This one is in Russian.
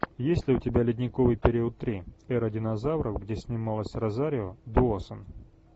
есть ли у тебя ледниковый период три эра динозавров где снималась розарио доусон